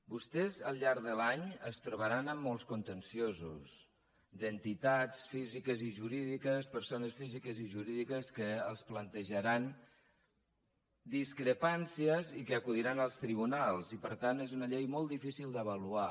vostès al llarg de l’any es trobaran amb molts contenciosos d’entitats físiques i jurídiques persones físiques i jurídiques que els plantejaran discrepàncies i que acudiran als tribunals i per tant és una llei molt difícil d’avaluar